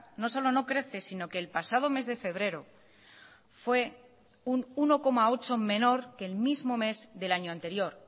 no solo no crece si no que el pasado mes de febrero fue un uno coma ocho menor que el mismo mes del año anterior